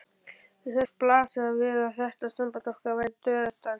Mér fannst blasa við að þetta samband okkar væri dauðadæmt.